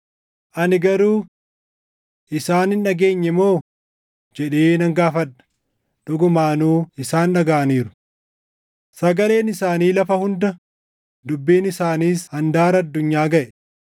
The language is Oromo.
Ani garuu: Isaan hin dhageenye moo? jedhee nan gaafadha; dhugumaanuu isaan dhagaʼaniiru: “Sagaleen isaanii lafa hunda, dubbiin isaaniis handaara addunyaa gaʼe.” + 10:18 \+xt Far 19:4\+xt*